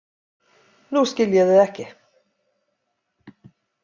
Nú skil ég þig ekki.